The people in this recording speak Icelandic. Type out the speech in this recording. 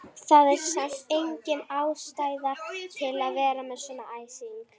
Það er samt engin ástæða til að vera með svona æsing!